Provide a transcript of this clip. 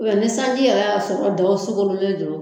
ni sanji yɛrɛ y'a sɔrɔ daaaw soglen don